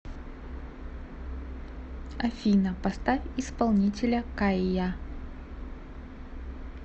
афина поставь исполнителя кайя